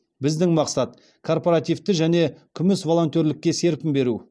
біздің мақсат корпоративті және күміс волонтерлікке серпін беру